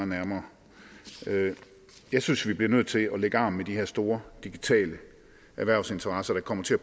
nærmere jeg synes vi bliver nødt til at lægge arm med de her store digitale erhvervsinteresser der kommer til at